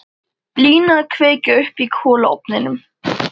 Lína að kveikja upp í kolaofninum.